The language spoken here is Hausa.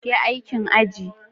Yi aikin aji.